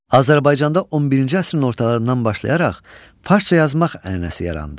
Azərbaycanda 11-ci əsrin ortalarından başlayaraq farsda yazmaq ənənəsi yarandı.